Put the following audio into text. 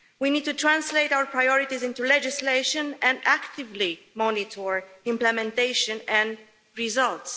We need to translate our priorities into legislation and actively monitor implementation and results.